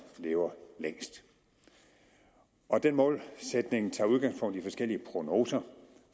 lever længst den målsætning tager udgangspunkt i forskellige prognoser